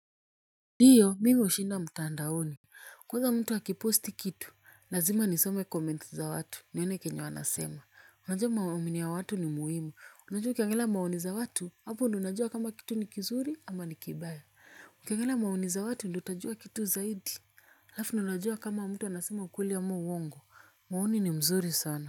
Ndiyo mi hushinda mtandaoni kwanza mtu akipost kitu, lazima nisome comments za watu, nione kenye wanasema. Unajua maomini ya watu ni muhimu, unajua ukiangalia maoni za watu. Hapo ndo unajua kama kitu ni kizuri ama ni kibaya ukiangalia maoni za watu ndo utajua kitu zaidi. Lafu ndo unajua kama mtu anasema ukweli ama uongo. Maoni ni mzuri sana.